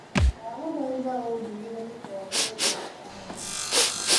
ndagũthaitha ũndugĩre gikombe ia kahũa